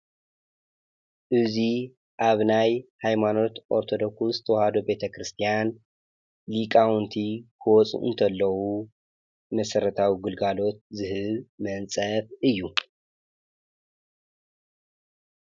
እዙይ ኣብናይ ኃይማኖት ኦርተዶኩስ ተዋህዶ ቤተ ክርስቲያን ሊቃውንቲ ክወፁ እንተለዉ መሠረታዊ ግልጋሎት ዝህብ መንጸፍ እዩ::